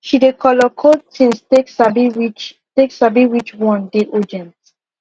she dey color code things take sabi which take sabi which one dey ogent